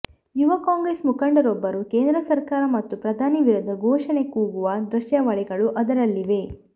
ಯುವ ಕಾಂಗ್ರೆಸ್ ಮುಖಂಡರೊಬ್ಬರು ಕೇಂದ್ರ ಸರ್ಕಾರ ಮತ್ತು ಪ್ರಧಾನಿ ವಿರುದ್ಧ ಘೋಷಣೆ ಕೂಗುವ ದೃಶ್ಯಾವಳಿಗಳು ಅದರಲ್ಲಿವೆ